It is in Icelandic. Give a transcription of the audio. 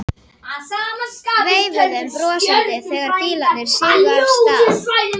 Veifuðum brosandi þegar bílarnir sigu af stað.